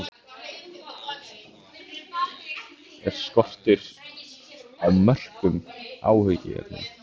Er skortur á mörkum áhyggjuefni?